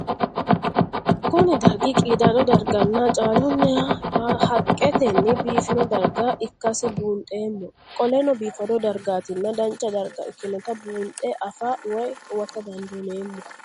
Kuni dargi qidado dargana caaluninna haqeteni bifino darga ikasi bundhemo qolenobifado dargatinna dancha darga ikinota bundhe afaa woyi huwata dandineemo?